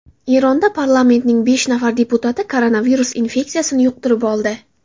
Eronda parlamentning besh nafar deputati koronavirus infeksiyasini yuqtirib oldi.